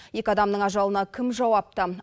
екі адамның ажалына кім жауапты